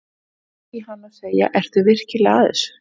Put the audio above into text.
Og hringja í hann og segja: Ertu virkilega að þessu?